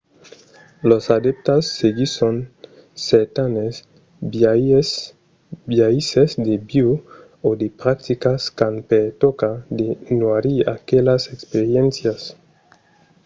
los adèptas seguisson certanes biaisses de viure o de practicas qu'an per tòca de noirir aquelas experiéncias